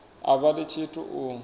a vha ḽi tshithu u